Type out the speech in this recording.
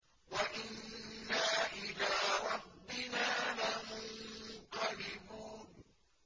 وَإِنَّا إِلَىٰ رَبِّنَا لَمُنقَلِبُونَ